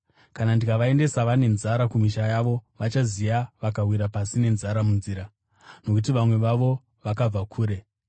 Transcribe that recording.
Kana ndikavaendesa vane nzara kumisha yavo, vachaziya vakawira pasi nenzara munzira, nokuti vamwe vavo vakabva kure.”